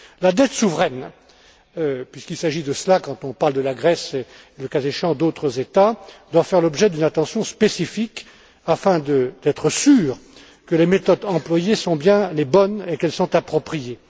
La dette souveraine, puisqu'il s'agit de cela quand on parle de la Grèce et, le cas échéant, d'autres États doit faire l'objet d'une attention spécifique afin de s'assurer que les méthodes employées sont bien les bonnes et qu'elles sont appropriées.